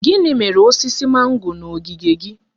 Gịnị mere osisi mango na ogige gị?